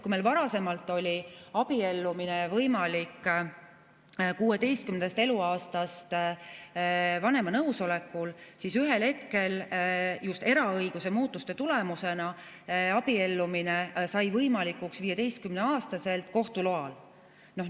Kui varasemalt oli abiellumine võimalik 16. eluaastast vanema nõusolekul, siis ühel hetkel just eraõiguse muutuste tulemusena sai abiellumine võimalikuks 15‑aastaselt kohtu loal.